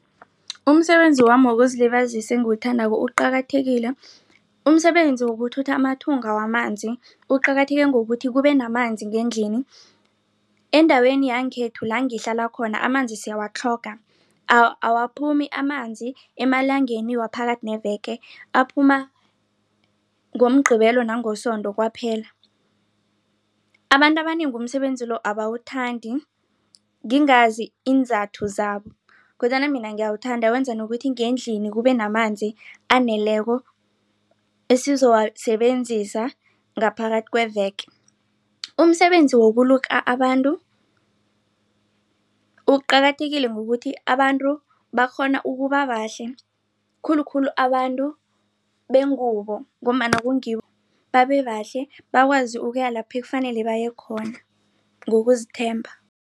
Umsebenzi wami wokuzilibazisa engiwuthandako uqakathekile umsebenzi wokuthutha amathunga wamanzi uqakatheke ngokuthi kubenamanzi ngendlini endaweni yangekhethu langihlala khona amanzi siyawatlhoga awaphumi amanzi emalangeni waphakathi neveke aphuma ngoMgqibelo nangoSondo kwaphela. Abantu abanengi umsebenzi lo abawuthandi ngingazi iinzathu zabo kodwana mina ngiyawuthanda wenza nokuthi ngendlini kubenamanzi aneleko esizowasebenzisa ngaphakathi kweveke. Umsebenzi wokuluka abantu uqakathekile ngokuthi abantu bakghona ukuba bahlale khulukhulu abantu bengubo ngombana kungibo babehle bakwazi ukuya lapho ekufanele bayekhona ngokuzithemba.